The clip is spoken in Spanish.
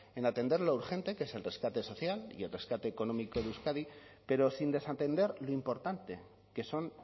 en atender lo urgente qué es el rescate social y el rescate económico de euskadi pero sin desatender lo importante que son